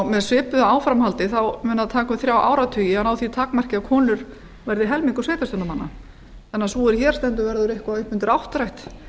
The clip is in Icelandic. með svipuðu áframhaldi mun það taka um þrjá áratugi að ná því takmarki að konur verði helmingur sveitarstjórnarmanna þannig að sú er hér stendur verður eitthvað upp undir áttrætt þegar